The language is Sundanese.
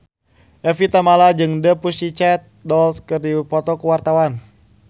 Evie Tamala jeung The Pussycat Dolls keur dipoto ku wartawan